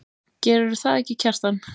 Gerðirðu það ekki, Kjartan?